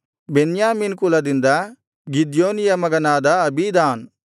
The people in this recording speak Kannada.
ಬೆನ್ಯಾಮೀನ್ ಕುಲದಿಂದ ಗಿದ್ಯೋನಿಯ ಮಗನಾದ ಅಬೀದಾನ್